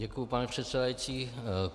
Děkuji, pane předsedající.